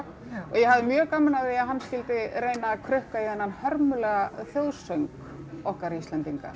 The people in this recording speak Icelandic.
og ég hafði mjög gaman af því að hann skyldi reyna að krukka í þennan hörmulega þjóðsöng okkar Íslendinga